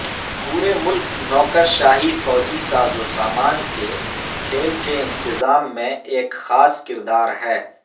پورے ملک نوکرشاہی فوجی سازوسامان کے کھیل کے انتظام میں ایک خاص کردار ہے